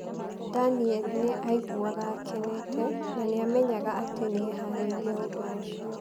Daniel nĩ aiguaga akenete, na nĩ amenyaga atĩ nĩ eharĩirie ũndũ ũcio.